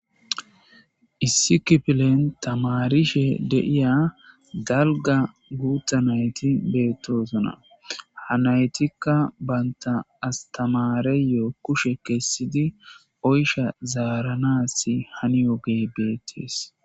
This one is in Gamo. Issi kifflen tamarishe de'ya dalga gutha naythi bethoson. Ha naythikka bantha astemareyo kushe kesidi oysha zaranasi haniyoge bethes.